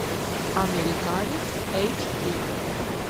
американец эйч ди